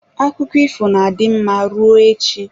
Akụkọ ifo na-adị mma rụọ echi.